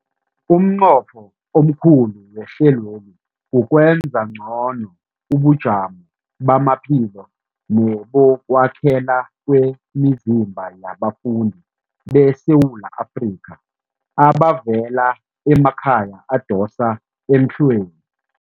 Umnqopho omkhulu wehlelweli kukwenza ngcono ubujamo bamaphilo nebokwakhela kwemizimba yabafundi beSewula Afrika abavela emakhaya adosa emhlweni.